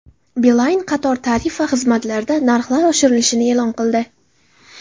Beeline qator tarif va xizmatlarda narxlar oshirilishini e’lon qildi.